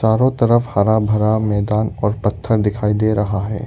चारों तरफ हरा भरा मैदान और पत्थर दिखाई दे रहा है।